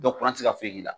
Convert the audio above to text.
Dɔ kura tɛ se ka foyi k'i la